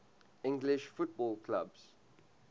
english football clubs